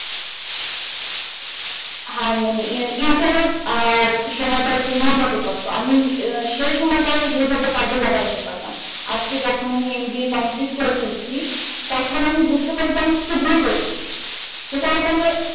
হ্যাঁ মানে এয়া এয়া আ সময়ই কার কিনা আমি আ সেই সময় কার যেটাতে কাজে যাহাই তে পারতাম আজকে আমি যখন mba complete করে ফেলেছি তখন আমি বুঝতে পেরেছি কি কি ভুল করেছি